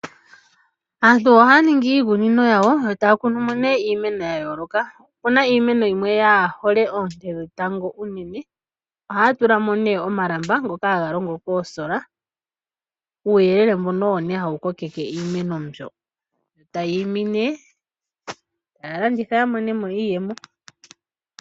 Aantu ohaya ningi iikunino yawo yo taya kunumo iimeno ya yooloka. Opu na iimeno yimwe yaahole oonte dhetango unene ohaya tulamo omalamba ngoka haga longo koosola, uuyelele mboka owo hawu kokeke iimene e ta yiimi nokulanditha ya monemo iiyemo.